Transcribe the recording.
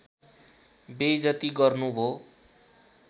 बेइजती गर्नु भो